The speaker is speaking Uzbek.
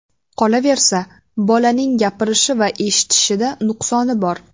Qolaversa, bolaning gapirishi va eshitishida nuqsoni bor.